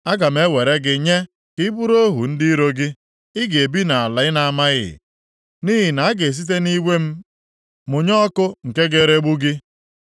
Aga m ewere gị nye ka ị bụrụ ohu ndị iro gị. Ị ga-ebi nʼala ị na-amaghị. Nʼihi na a ga-esite nʼiwe m mụnye ọkụ nke ga-eregbu gị.”